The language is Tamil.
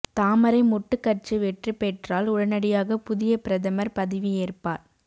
தாமரை மொட்டு கட்சி வெற்றி பெற்றால் உடனடியாக புதிய பிரதமர் பதவியேற்பார்